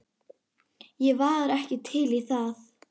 Ég var ekki til í það.